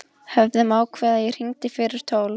Höfðum ákveðið að ég hringdi fyrir tólf.